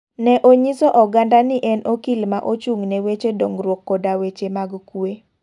Ne onyiso oganda ni en okil ma ochung ne wacho dongruok koda weche mag kue.